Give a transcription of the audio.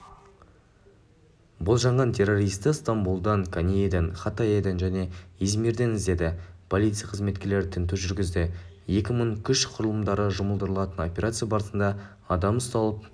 болжанған террористі стамбұлдан коньеден хатаеден және измирден іздеді полиция қызметкерлері тінту жүргізді екі мың күш құрылымдары жұмылдырылған операция барысында адам ұсталып